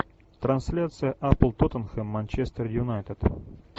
трансляция апл тоттенхэм манчестер юнайтед